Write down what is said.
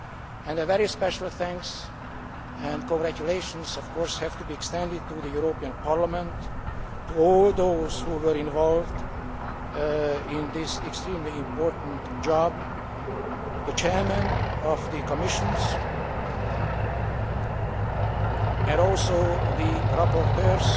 and very special thanks and congratulations also have to be extended to the European Parliament, to all those who were involved in this extremely important job the chairs of the committees, and also the rapporteurs